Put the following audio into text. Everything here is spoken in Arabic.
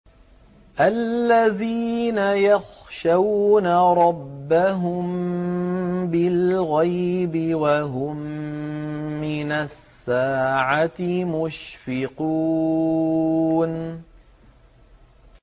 الَّذِينَ يَخْشَوْنَ رَبَّهُم بِالْغَيْبِ وَهُم مِّنَ السَّاعَةِ مُشْفِقُونَ